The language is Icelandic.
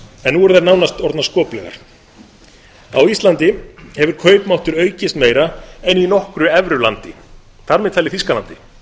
en nú eru þær nánast orðnar skoplegar á íslandi hefur kaupmáttur aukist meira en í nokkru evrulandi þar með talið þýskalandi